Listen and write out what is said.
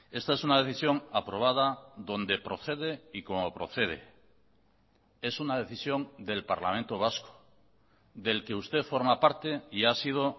esta es una decisión aprobada donde procede y como procede es una decisión del parlamento vasco del que usted forma parte y ha sido